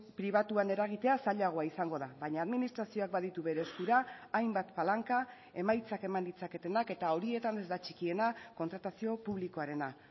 pribatuan eragitea zailagoa izango da baina administrazioak baditu bere eskura hainbat palanka emaitzak eman ditzaketenak eta horietan ez da txikiena kontratazio publikoarena